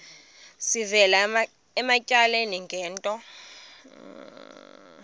sivela ematyaleni ngento